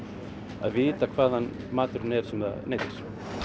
að vita hvaðan maturinn er sem það neytir